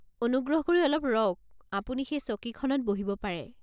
অনুগ্ৰহ কৰি অলপ ৰওক, আপুনি সেই চকীখনত বহিব পাৰে।